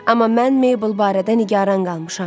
Amma mən Meybel barədə nigaran qalmışam.